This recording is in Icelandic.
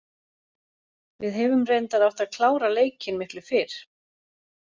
Við hefum reyndar átt að klára leikinn miklu fyrr.